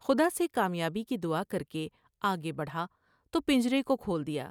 خدا سے کامیابی کی دعا کر کے آگے بڑھا تو پنجرے کو کھول دیا ۔